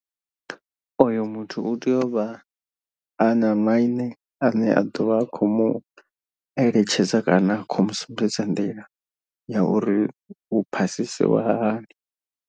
Oyo muthu u tea u vha a na maine ane a ḓovha a khou mu eletshedza kana a khou mu sumbedza nḓila ya uri hu phasisiwa hani.